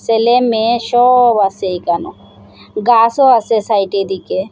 ছেলে মেয়ে সব আসে এইখানে গাসও আসে সাইডের দিকে।